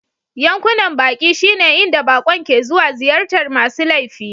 Yankunan baƙi shine inda baƙon ke zuwa ziyartar masu laifi..